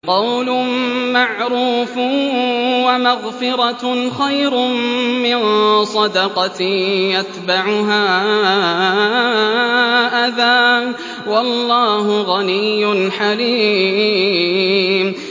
۞ قَوْلٌ مَّعْرُوفٌ وَمَغْفِرَةٌ خَيْرٌ مِّن صَدَقَةٍ يَتْبَعُهَا أَذًى ۗ وَاللَّهُ غَنِيٌّ حَلِيمٌ